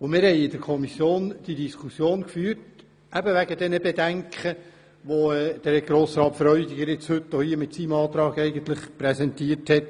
Wir haben in der Kommission die Diskussion über die Bedenken geführt, welche Grossrat Freudiger mit seinem Antrag präsentiert.